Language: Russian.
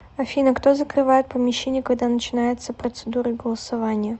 афина кто закрывает помещение когда начинается процедура голосования